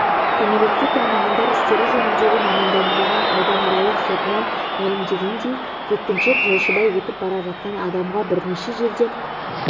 кәмелетке толмағандар істері жөніндегі мамандандырылған ауданаралық сотынан мәлімдегендей жеткіншек жолшыбай өтіп бара жатқан адамға бірнеше жерден